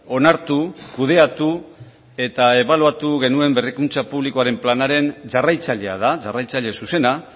onartu kudeatu eta ebaluatu genuen berrikuntza publikoaren planaren jarraitzailea da jarraitzaile zuzena